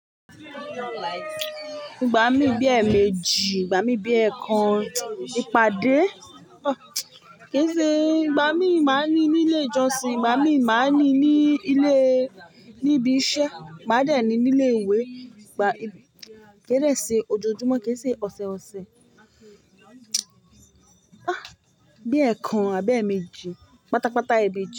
Ìgbà mí bí ẹ́ méjì, ìgbà mí bí ẹ́ kan, ìpàdé. Kìí ṣe ìgbà mí máa ń ní ní ilé ìjọsìn, ìgbà mí máa ń ní ní ilé, ní ibi iṣẹ́, ma a dẹ ní ni ilé ìwé, ìgbà kí n dẹ se ojojúmọ́ kì í ṣe ọ̀sẹọ̀sẹ̀. Bí ẹ́ kan àbí ẹ́ méjì, pátápátá ẹmeeji.